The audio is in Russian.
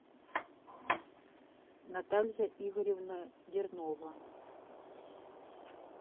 наталья игоревна дернова